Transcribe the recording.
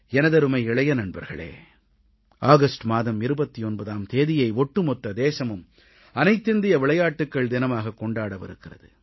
எனதருமை இளைய நண்பர்களே ஆகஸ்ட் மாதம் 29ஆம் தேதியை ஒட்டுமொத்த தேசமும் அனைத்திந்திய விளையாட்டுகள் தினமாகக் கொண்டாடவிருக்கிறது